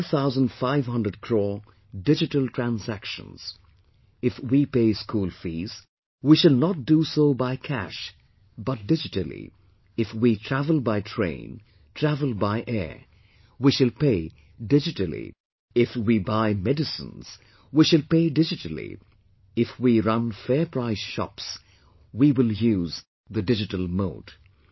2500 crore digital transactions if we pay school fees, we shall do so not by cash but digitally, if we travel by train, travel by air, we shall pay digitally, if buy medicines, we shall pay digitally, if we run fair price shops, we will use the digital mode